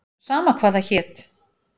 Sama hvað það hét.